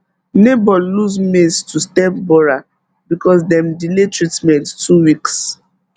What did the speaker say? neighbor lose maize to stem borer because dem delay treatment two weeks